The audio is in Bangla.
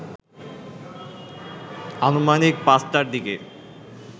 আনুমানিক ৫টার দিকে